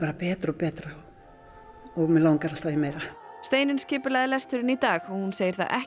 betra og betra og mig langar alltaf í meira Steinunn skipulagði lesturinn í dag og hún segir það ekki